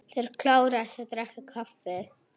Þeir kláruðu að drekka kaffið.